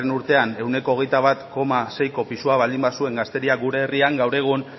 urtean ehuneko hogeita bat koma seiko pisua baldin bazuen gazteria gure herrian gaur egun